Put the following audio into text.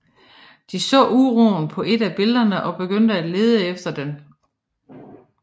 De så uroen på et af billederne og begyndte at lede efter den